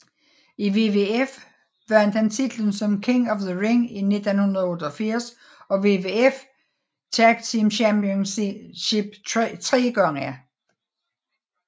I WWF vandt han titlen som King of the Ring i 1988 og WWF Tag Team Championship tre gange